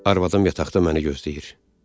Arvadım yataqda məni gözləyir.